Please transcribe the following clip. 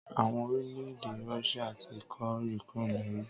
Àwọn orílẹ̀ èdè Russia ti kó Ukraine lẹ́rú.